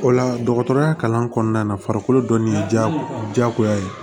O la dɔgɔtɔrɔya kalan kɔnɔna na farikolo dɔnnen ye jago jagoya ye